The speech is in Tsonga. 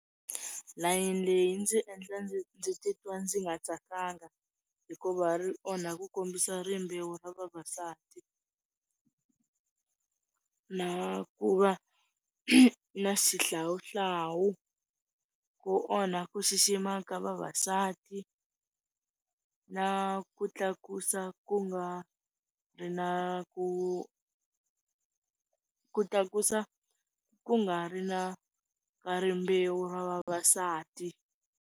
Layeni leyi yi ndzi endla ndzi ndzi titwa ndzi nga tsakanga, hikuva ri onha ku kombisa rimbewu ra vavasati, na ku va na xihlawuhlawu, ku onha ku xixima ka vavasati na ku tlakusa ku nga ri na ku, ku tlakusa ku nga ri na ka rimbewu ra vavasati.